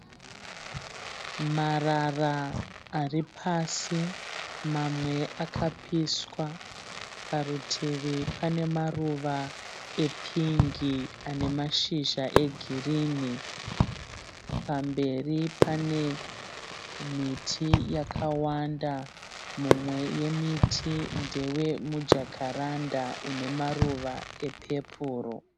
Marara aripasi mamwe akapiswa. Parutivi panemaruva epingi anemashizha egirini. Pamberi panemiti yakawanda mumwe yemiti ndewemujakaranda unemaruva epeporo.